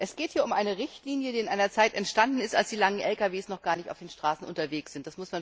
Es geht hier um eine Richtlinie, die in einer Zeit entstanden ist, als die langen Lkw noch gar nicht auf den Straßen unterwegs waren.